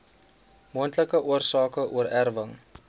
moontlike oorsake oorerwing